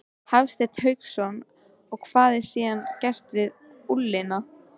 Hafsteinn Hauksson: Og hvað er síðan gert við ullina?